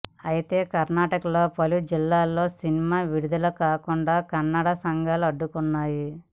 అయితే కర్ణాటకలో పలు జిల్లాల్లో సినిమా విడుదల కాకుండా కన్నడ సంఘాలు అడ్డుకున్నాయి